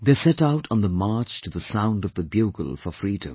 They set out on the march to the sound of the bugle for freedom